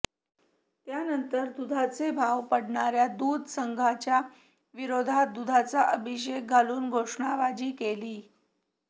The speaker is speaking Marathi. त्यानंतर दुधाचे भाव पाडणाऱ्या दूध संघांच्या विरोधात दुधाचा अभिषेक घालून घोषणाबाजी केली